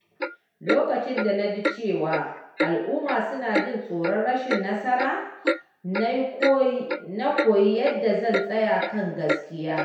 Lokacin da na ji cewa al’umma suna jin tsoron rashin nasara, na koyi yadda zan tsaya kan gaskiyata.